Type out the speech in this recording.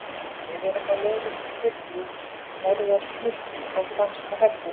Við erum á leið upp í þyrlu, stærðar flikki frá franska hernum.